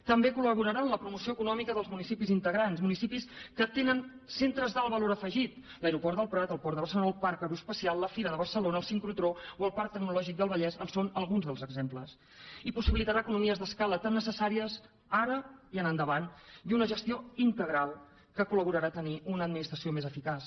també col·laborarà en la promoció econòmica dels municipis integrants municipis que tenen centres d’alt valor afegit l’aeroport del prat el port de barcelona el parc aeroespacial la fira de barcelona el sincrotró o el parc tecnològic del vallès en són alguns dels exemples i possibilitarà economies d’escala tan necessàries ara i en endavant i una gestió integral que col·laborarà a tenir una administració més eficaç